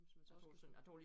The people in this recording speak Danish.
Hvis man så også kan synge